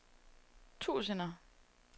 tusinder